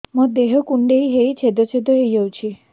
ମୋ ଦେହ କୁଣ୍ଡେଇ ହେଇ ଛେଦ ଛେଦ ହେଇ ଯାଉଛି